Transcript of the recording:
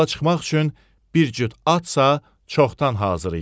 Yola çıxmaq üçün bir cüt atsa çoxdan hazır idi.